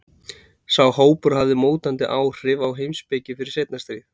sá hópur hafði mótandi áhrif á heimspeki fyrir seinna stríð